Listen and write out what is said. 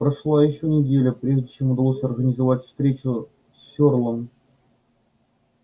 прошла ещё неделя прежде чем удалось организовать встречу с ферлом